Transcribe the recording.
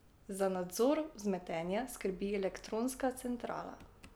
Za nadzor vzmetenja skrbi elektronska centrala.